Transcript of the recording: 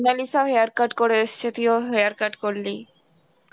মোনালিসাও hair cut করে এসছে তুইও hair cut করলি